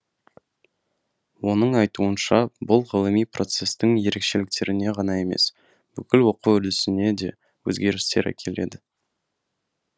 оның айтуынша бұл ғылыми процестің ерекшеліктеріне ғана емес бүкіл оқу үрдісіне де өзгерістер әкеледі